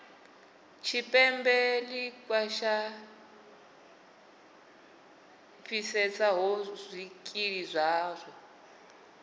tshipembe ḽi khwaṱhisedzaho zwikili zwavho